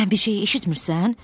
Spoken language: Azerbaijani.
Sən bir şeyi eşitmisən?